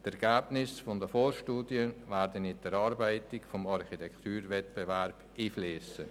Die Ergebnisse der Vorstudie werden in die Erarbeitung des Architekturwettbewerbs einfliessen.